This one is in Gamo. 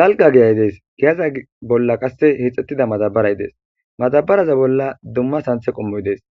Dalga geyay dees giyaza bolla qasse hixxettida matabaray dees matabaraza bolla dumma santhe qommoy dees